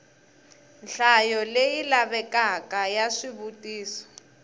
nhlayo leyi lavekaka ya swivutiso